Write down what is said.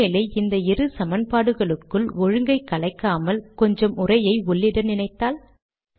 ஒரு வேளை இந்த இரு சமன்பாடுகளுக்குள் ஒழுங்கை கலைக்காமல் கொஞ்சம் உரையை உள்ளிட நினைத்தால்